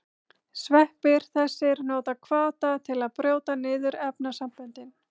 Sveppir þessir nota hvata til að brjóta niður efnasamböndin.